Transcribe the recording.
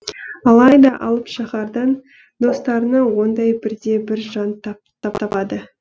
алайда алып шаһардан достарынан ондай бірде бір жан таппады